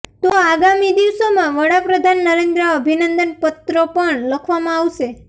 તો આગામી દિવસોમાં વડાપ્રધાન નરેન્દ્ર અભિનંદન પત્રો પણ લખવામાં આવશે